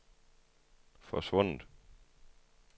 forsvundet